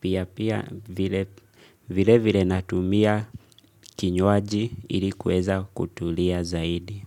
Pia pia vile vile natumia kinywaji ili kuweza kutulia zaidi.